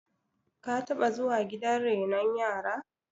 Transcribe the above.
ka taba zuwa gidan renon yara